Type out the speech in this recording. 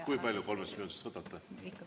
Kui palju kolmest minutist võtate?